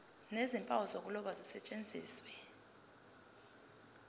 nezimpawu zokuloba zisetshenziswe